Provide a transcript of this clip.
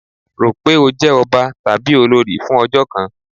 Ro pé ó jẹ́ ọba tàbí olórí fún ọjọ́ kan!